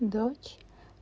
дочь